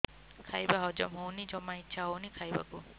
ଖାଇବା ହଜମ ହଉନି ଜମା ଇଛା ହଉନି ଖାଇବାକୁ